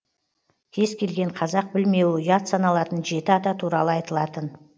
кез келген қазақ білмеуі ұят саналатын жеті ата туралы айтылатын